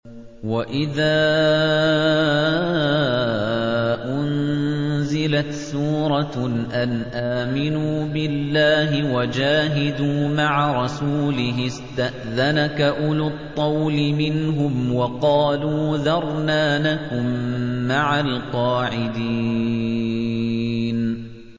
وَإِذَا أُنزِلَتْ سُورَةٌ أَنْ آمِنُوا بِاللَّهِ وَجَاهِدُوا مَعَ رَسُولِهِ اسْتَأْذَنَكَ أُولُو الطَّوْلِ مِنْهُمْ وَقَالُوا ذَرْنَا نَكُن مَّعَ الْقَاعِدِينَ